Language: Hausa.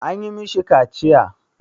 An yi ma shi kaciya?